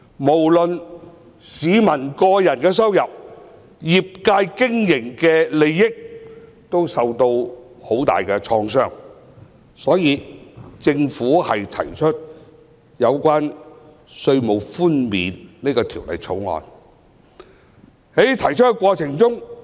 無論是市民的個人收入，以至業界的經營利益，均受到很大的創傷，政府因而提出這項關於稅務寬免的《條例草案》。